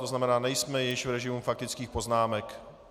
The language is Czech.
To znamená, nejsme již v režimu faktických poznámek.